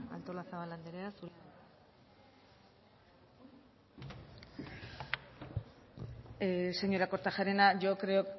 artolazabal anderea zurea da hitza señora kortajarena yo creo